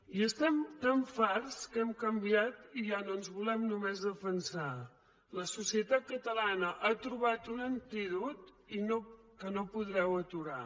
i n’estem tan farts que hem canviat i ja no ens volem només defensar la societat catalana ha trobat un antídot que no podreu aturar